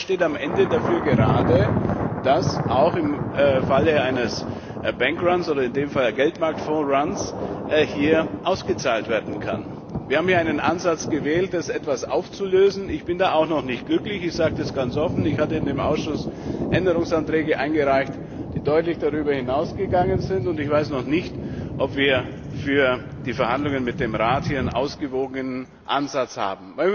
Und wer steht am Ende dafür gerade, dass auch im Falle eines Ansturms auf eine Bank oder in diesem Fall auf einen Geldmarktfonds hier ausgezahlt werden kann? Wir haben hier einen Ansatz gewählt, um das etwas aufzulösen. Ich bin damit auch noch nicht glücklich, das sage ich ganz offen. Ich hatte im Ausschuss Änderungsanträge eingereicht, die deutlich darüber hinausgegangen sind. Ich weiß noch nicht, ob wir für die Verhandlungen mit dem Rat hier einen ausgewogenen Ansatz haben.